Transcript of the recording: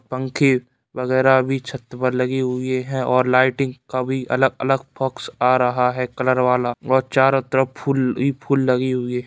पंखे वगैरह भी छत्त पर लगी हुई है और लाइटिंग का भी अलग-अलग फॉक्स आ रहा है कलर वाला और चारों तरफ फूल ही फूल लगे हुए--